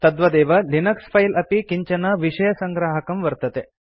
तद्वदेव लिनक्स फिले अपि किञ्चन विषयसङ्ग्राहकं वर्तते